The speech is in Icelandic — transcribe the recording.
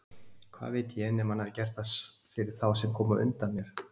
Hvað veit ég, nema hann hafi gert það fyrir þá sem komu á undan mér!